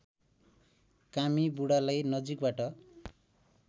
कामी बुढालाई नजिकबाट